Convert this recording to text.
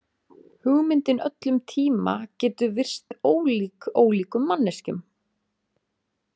Hugmyndin öll um tíma getur virst ólík ólíkum manneskjum.